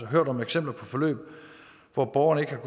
hørt om eksempler på forløb hvor borgerne ikke har